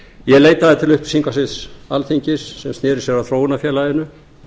ég leitaði til upplýsingasviðs alþingis sem sneri sér að þróunarfélaginu